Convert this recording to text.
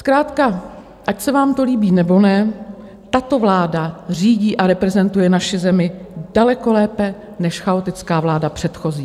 Zkrátka ať se vám to líbí, nebo ne, tato vláda řídí a reprezentuje naši zemi daleko lépe než chaotická vláda předchozí.